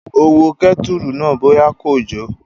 Ó wo kẹ́tùrù náà bóyá kò jò